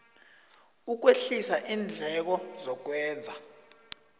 ukwehlisa iindleko zokwenza